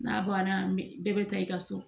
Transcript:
N'a banna bɛɛ bɛ taa i ka so